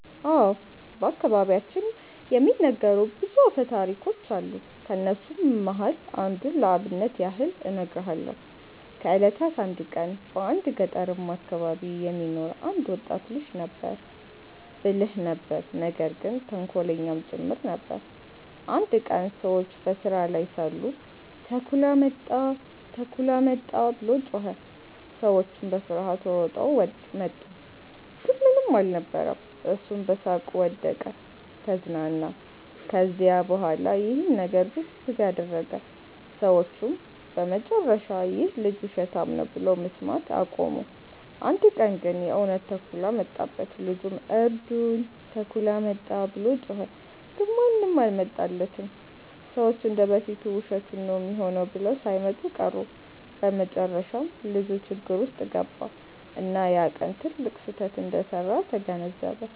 አዎ። በአከባቢያችን የሚነገሩ ብዙ አፈታሪኮች አሉ። ከነሱም መሃል አንዱን ለአብነት ያህል እነግርሃለው። ከ እለታት አንድ ቀን በአንድ ገጠርማ አከባቢ የሚኖር አንድ ወጣት ልጅ ነበረ። ብልህ ነበር ነገር ግን ተንኮለኛም ጭምር ነበር። አንድ ቀን ሰዎች በስራ ላይ ሳሉ “ተኩላ መጣ! ተኩላ መጣ!” ብሎ ጮኸ። ሰዎቹም በፍርሃት ሮጠው መጡ፣ ግን ምንም አልነበረም። እሱም በሳቅ ወደቀ(ተዝናና)። ከዚያ በኋላ ይህን ነገር ብዙ ጊዜ አደረገ። ሰዎቹም በመጨረሻ “ይህ ልጅ ውሸታም ነው” ብለው መስማት አቆሙ። አንድ ቀን ግን የእውነት ተኩላ መጣበት። ልጁም “እርዱኝ! ተኩላ መጣ!” ብሎ ጮኸ። ግን ማንም አልመጣለትም፤ ሰዎቹ እንደ በፊቱ ውሸቱን ነው ሚሆነው ብለው ሳይመጡ ቀሩ። በመጨረሻም ልጁ ችግር ውስጥ ገባ፣ እና ያ ቀን ትልቅ ስህተት እንደሰራ ተገነዘበ።